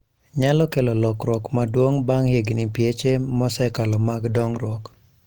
Nyalo kelo lokruok maduong ' bang ' higini pieche mosekalo mag dongruok.